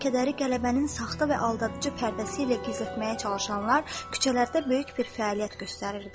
Matəm və kədəri qələbənin saxta və aldadıcı pərdəsi ilə gizlətməyə çalışanlar küçələrdə böyük bir fəaliyyət göstərirdilər.